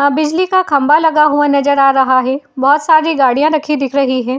आ बिजली का खंबा लगा हुआ नजर आ रहा है। बहोत सारी गाड़ियाँ रखी दिख रही है।